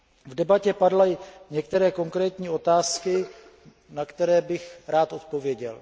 V debatě padly některé konkrétní otázky, na které bych rád odpověděl.